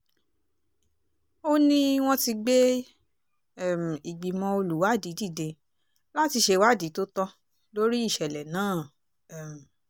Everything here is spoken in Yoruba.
ó ní wọ́n ti gbé um ìgbìmọ̀ olùwádìí dìde láti ṣèwádìí tó tọ́ lórí ìṣẹ̀lẹ̀ náà um